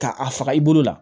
Ka a faga i bolo la